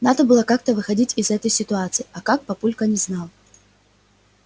надо было как-то выходить из этой ситуации а как папулька не знал